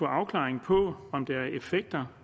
afklaring på om der er effekter